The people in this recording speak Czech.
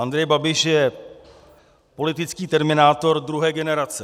Andrej Babiš je politický terminátor druhé generace.